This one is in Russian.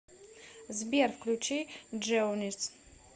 сбер включи джеонис